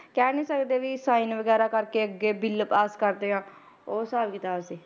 ਕਹਿ ਨੀ ਸਕਦੇ ਵੀ sign ਵਗ਼ੈਰਾ ਕਰਕੇ ਅੱਗੇ ਬਿੱਲ ਪਾਸ ਕਰਦੇ ਆ ਉਹ ਹਿਸਾਬ ਕਿਤਾਬ ਸੀ,